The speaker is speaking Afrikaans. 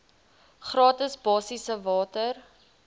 gratis basiese water